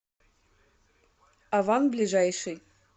аван ближайший